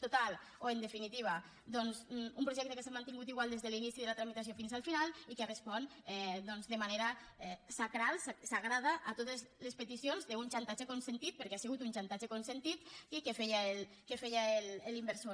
total o en definitiva doncs un projecte que s’ha mantingut igual des de l’inici de la tramitació fins al final i que respon doncs de manera sagrada a totes les peticions de un xantatge consentit perquè ha sigut un xantatge consentit que feia l’inversor